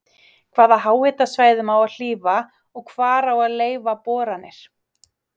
Hvaða háhitasvæðum á að hlífa og hvar á að leyfa boranir?